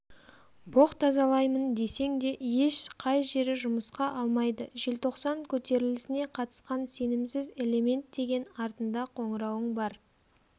боқ тазалаймын десең де еш қай жері жұмысқа алмайды желтоқсан көтерілісіне қатысқан сенімсіз элемент деген артында қоңырауың бар